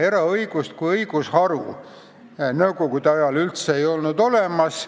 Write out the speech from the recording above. Eraõigust kui õigusharu ei olnud nõukogude ajal üldse olemas.